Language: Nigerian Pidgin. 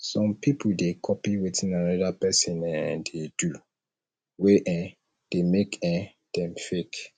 some pipo de copy wetin another persin um dey do wey um de make um dem fake